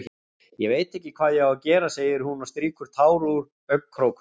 Ég veit ekki hvað ég á að gera, segir hún og strýkur tár úr augnkrókunum.